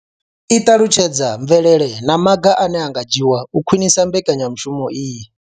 I ṱalutshedza mvelelo na maga ane a nga dzhiwa u khwinisa mbekanyamushumo iyi.